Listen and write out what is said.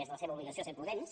és la seva obligació ser prudents